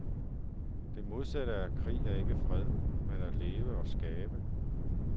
Det modsatte af krig er ikke fred, men at leve og skabe.